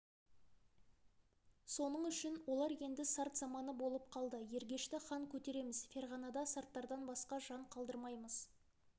соның үшін олар енді сарт заманы болып қалды ергешті хан көтереміз ферғанада сарттардан басқа жан қалдырмаймыз